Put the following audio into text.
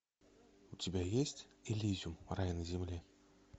у тебя есть элизиум рай на земле